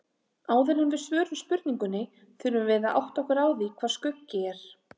Áður en við svörum spurningunni þurfum við að átta okkur á því hvað skuggi er.